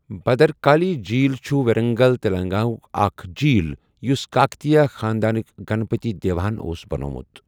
بھدرکالی جیٖل چھُ ورنگل، تلنگانہ ہُک اکھ جیٖل یوٚس کاکتیہ خاندانٕک گنپتی دیوا ہَن اوس بَنٗومُت۔